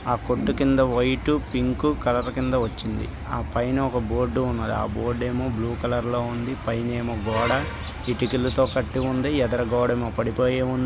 ఆ కొట్టు కింద వైట్ పింక్ కలర్ కింద వచ్చింది. ఆ పైన ఒక బోర్డు ఉన్నది. ఆ బోర్డు ఏమో బ్లూ కలర్ లో ఉంది. ఆ పైనఏమో గోడ ఇటుకలతో కట్టి ఉంది. ఎదుర గోడేమో పడిపోయి ఉం--